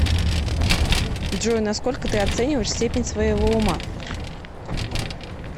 джой насколько ты оцениваешь степень своего ума